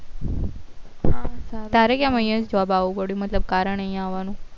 હા તારે કેમ અહિયાં job આવું પડ્યું મતલબ કારણ અહિયાં આવાનું